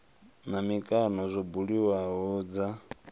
na mikano zwo buliwaho dza